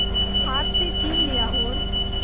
हाथ से छीन लिया और